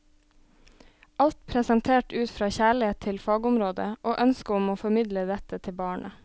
Alt presentert ut fra kjærlighet til fagområdet og ønske om å formidle dette til barnet.